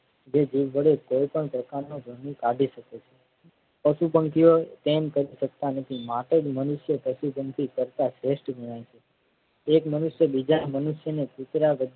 જીભ વડે કઈ પણ પ્રકારનો ભર્મ કાઢી શકે છે. પશુ પંખીઓ તેમ કરી શકતા નથી માટે જ મનુષ્ય પશુ પક્ષી કરતા શ્રેષ્ઠ ગણાય છે. એક મનુષ્ય બીજા મનુષ્યને કુતરા